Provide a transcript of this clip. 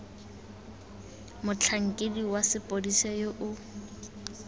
motlhankedi wa sepodisi yo o